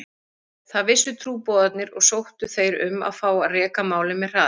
Það vissu trúboðarnir og sóttu þeir um að fá að reka málið með hraði.